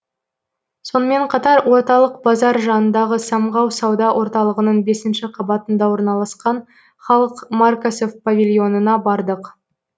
сонымен қатар орталық базар жанындағы самғау сауда орталығының бесінші қабатында орналасқан халықмаркасы павильонына бардық